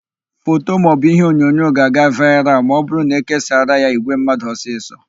Foto maọbụ iheonyonyo ga-aga vaịral ma ọbụrụ na ékésaara ya ìgwè mmadụ ọsịsọ.